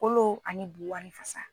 Kolo ani bu ani fasa.